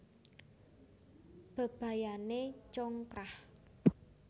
Bebayané congkrah